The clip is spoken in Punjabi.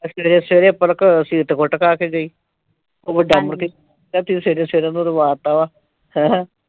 ਅੱਜ ਸਵੇਰੇ ਸਵੇਰੇ ਪਲਕ ਤੋਂ ਸੀਰਤ ਤੋਂ ਕੁੱਟ ਖਾ ਕੇ ਗਈ। ਉਹ ਵੱਡਾ ਮੁੜ ਕੇ ਕਹਿੰਦਾ ਤੂੰ ਸਵੇਰੇ ਸਵੇਰੇ ਉਹਨੂੰ ਰਵਾ ਤਾ ਵਾ ਹੈਂ।